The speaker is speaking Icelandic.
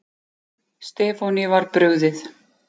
Stefáni var brugðið.